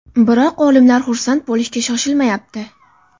Biroq olimlar xursand bo‘lishga shoshilmayapti.